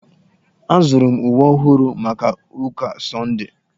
Azụrụ m uwe ọhụrụ maka ụka sọndee.